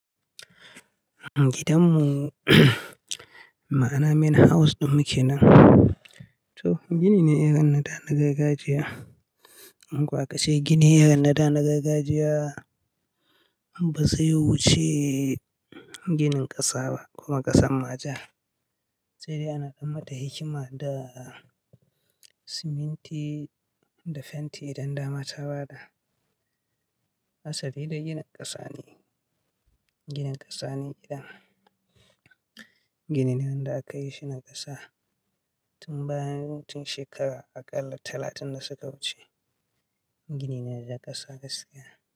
Gidanmu, ma'ana main house ɗin mu kenan. To, gini ne irin na da, na gargajiya. In ko a ka ce gini irin na da na gargajiya, ba zai wuce ginin ƙasa ba, kuma ƙasan ma ja. Sai dai ana ɗan mata hikima da siminti da fenti, idan dama ta ba da. Asali dai ginin ƙasa ne. Ginin ƙasa ne gidan. Gini ne wanda aka yi shi na ƙasa tun bayan tun shekara aƙalla talatin da suka wuce. Gini ne na ƙasa gaskiya.